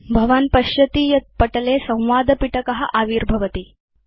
भवान् पश्यति यत् पटले संवादपिटकम् आविर्भवति